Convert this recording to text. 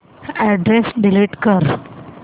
address delete कर